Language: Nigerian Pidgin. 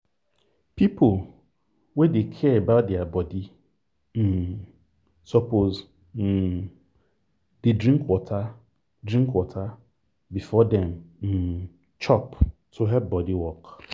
people wey dey care about their body um suppose um dey drink water drink water before dem um chop to help body work